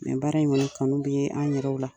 baara in kɔni kanu bɛ ye an yɛrɛw la.